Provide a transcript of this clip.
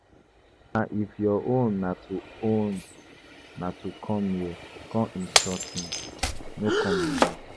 Mama if your own na to own na to come here come insult me, no come again.